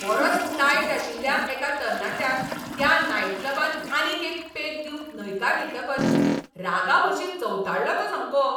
बरोच तायट आशिल्ल्या एका तरणाट्याक त्या नायटक्लबान आनीक एक पेग दिवंक न्हयकार दितकच रागाभरशीं चवताळ्ळो तो सामको.